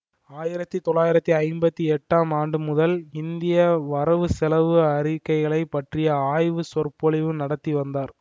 ஆயிரத்தி தொள்ளாயிரத்தி ஐம்பத்தி எட்டாம் ஆண்டு முதல் இந்திய வரவு செலவு அறிக்கைகளைப் பற்றி ஆய்வுச் சொற்பொழிவு நடத்தி வந்தார்